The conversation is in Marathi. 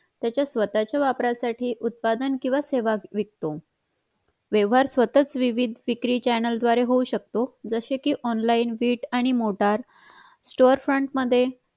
त्याच्या स्वतःच्या वापरासाठी उत्पादन किंवा सेवा विकतो व्यवहार स्वतःचा विविध विक्री chayna l द्वारे होऊ शिकतो जसे कि online बीट आणि मोटार storefront मध्ये